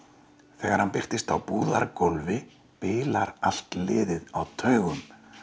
þegar hann birtist á bilar allt liðið á taugum